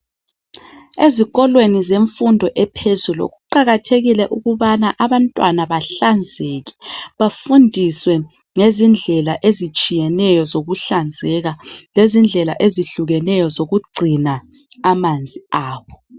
Ezikolweni zemfundo yaphezulu kuqakathekile ukubana abantwana bahlanzeke bafundiswe ngezindlela ezitshiyeneyo zokuhlanzeka lezindlela ezihlukeneyo zokugcina amanzi abo.